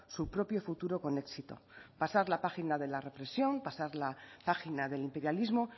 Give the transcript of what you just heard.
su propio futuro con éxito pasar la página de la represión pasar la página del imperialismo